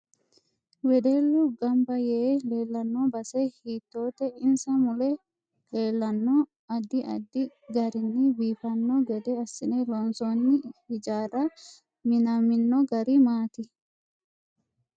Wedellu ganba yee leelanno base hiitoote insa mule leelanno addi addi garinni biifanno gede assine loonsooni hijaari minaminno gari maati